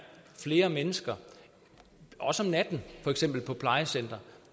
flere mennesker også om natten for eksempel på plejecentre